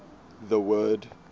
the word